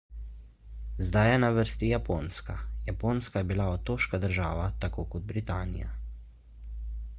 zdaj je na vrsti japonska japonska je bila otoška država tako kot britanija